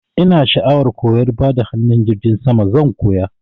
Ina sha'awar koyan bada hanun jirgin sama, zan koya.